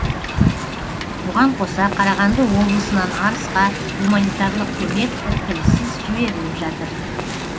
бұған қоса қарағанды облысынан арысқа гуманитарлық көмек іркіліссіз жіберіліп жатыр